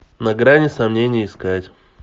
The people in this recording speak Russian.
на грани сомнений искать